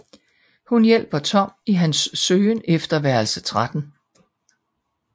Hun hjælper Tom i hans søgen efter værelse 13